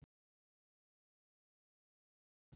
Okkur er engin vorkunn.